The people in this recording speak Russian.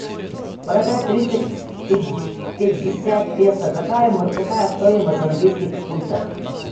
продать триста пятьдесят песо какая стоимость в английских фунтах